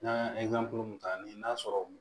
N'an y'a mun ta ni n'a sɔrɔ